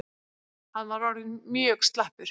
Hann var orðinn mjög slappur.